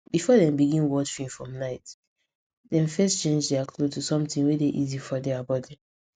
before dem begin watch film for night dem first change their cloth to something wey dey easy for their body